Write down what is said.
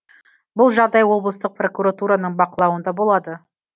бұл жағдай облыстық прокуратураның бақылауында болады